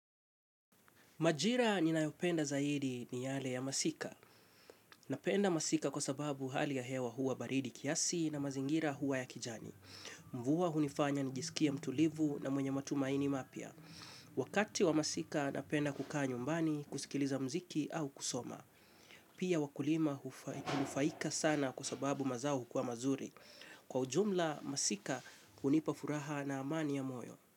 Majira ninayopenda zaidi ni yale ya masika. Napenda masika kwa sababu hali ya hewa huwa baridi kiasi na mazingira huwa ya kijani. Mvua hunifanya nijisikie mtulivu na mwenye matumaini mapya. Wakati wa masika napenda kukaa nyumbani, kusikiliza mziki au kusoma. Pia wakulima hufaika sana kwa sababu mazao hukua mazuri. Kwa ujumla, masika unipafuraha na amani ya moyo.